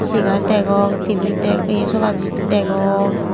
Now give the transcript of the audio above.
chegar degong tebil deg ye sobajit degong.